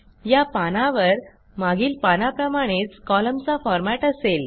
या पानावर मागील पानाप्रमाणेच कॉलमचा फॉरमॅट असेल